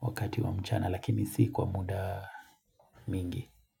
Wakati wa mchana lakini si kwa muda mingi.